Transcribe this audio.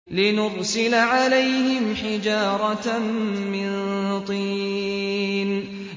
لِنُرْسِلَ عَلَيْهِمْ حِجَارَةً مِّن طِينٍ